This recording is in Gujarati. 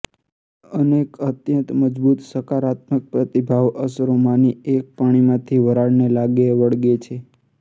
અનેક અત્યંત મજબૂત સકારાત્મક પ્રતિભાવ અસરોમાંની એક પાણીમાંથી વરાળને લાગે વળગે છે